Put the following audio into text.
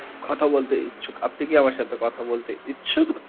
কথা বলতে ইচ্ছুক আপনি কি আমার সাথে কথা বলতে ইচ্ছুক?